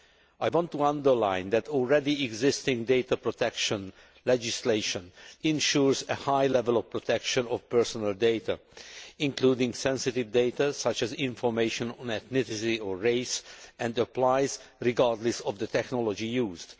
I want to underline that already existing data protection legislation ensures a high level of protection of personal data including sensitive data such as information on ethnicity or race and applies regardless of the technology used.